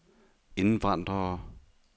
indvandrere